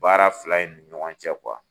Baara fila in ni ɲɔgɔn cɛ